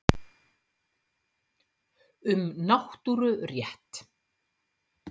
Um náttúrurétt.